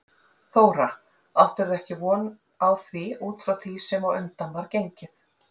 Þóra: Áttirðu ekki von á því út frá því sem á undan var gengið?